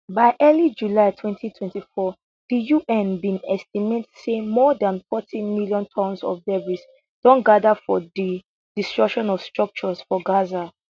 by early july 2024 di un bin estimate say more dan forty million tonnes of debris don gather from di destruction of structures for gaza